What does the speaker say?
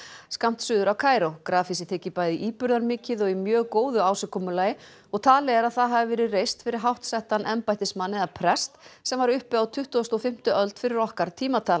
skammt suður af Kaíró grafhýsið þykir bæði íburðarmikið og í mjög góðu ásigkomulagi og talið er að það hafi verið reist fyrir háttsettan embættismann eða prest sem var uppi á tuttugustu og fimmtu öld fyrir okkar tímatal